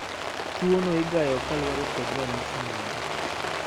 Tuono igayo kalure kod ranyisi mage.